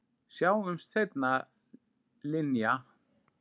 Sjáumst seinna, Linja.